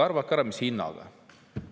Arvake ära, mis hinnaga!